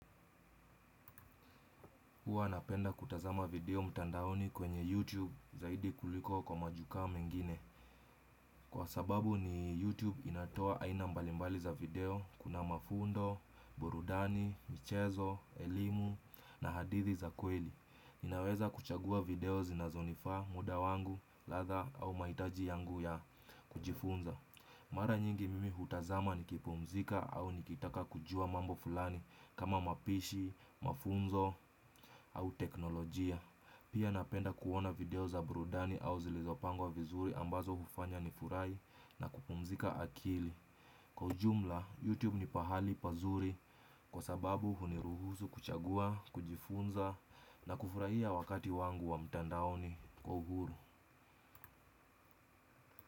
Huwa napenda kutazama video mtandaoni kwenye YouTube zaidi kuliko kwa majukaa mengine. Kwa sababu ni YouTube inatoa aina mbalimbali za video kuna mafundo, burudani, michezo, elimu na hadithi za kweli. Inaweza kuchagua video zinazonifaa muda wangu, ladha au mahitaji yangu ya kujifunza. Mara nyingi mimi hutazama nikipumzika au nikitaka kujua mambo fulani kama mapishi, mafunzo au teknolojia. Pia napenda kuona video za burudani au zilizopangwa vizuri ambazo hufanya nifurahi na kupumzika akili. Kwa ujumla, YouTube ni pahali pazuri kwa sababu huniruhusu kuchagua, kujifunza na kufurahia wakati wangu wa mtandaoni kwa uhuru.